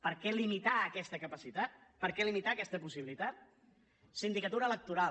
per què limitar aquesta capacitat per què limitar aquesta possibilitat sindicatura electoral